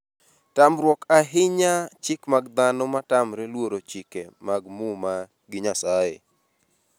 tamruok ahinya chik mag dhano matamre luoro chike mag muma gi Nyasaye